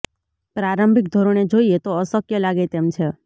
પ્રારંભિક ધોરણે જોઈએ તો અશક્ય લાગે તેમ છે